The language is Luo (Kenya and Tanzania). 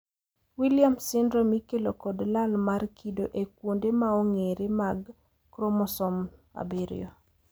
Williams syndrome ikelo kod lal mar kido e kuonde maong`ere mag kromosom 7.